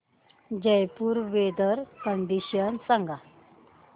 Jaipur weather condition सांगा